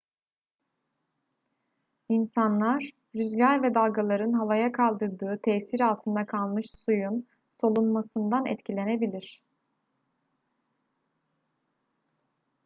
i̇nsanlar rüzgar ve dalgaların havaya kaldırdığı tesir altında kalmış suyun solunmasından etkilenebilir